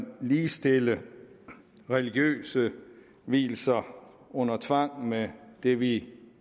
at ligestille religiøse vielser under tvang med det vi